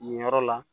Nin yɔrɔ la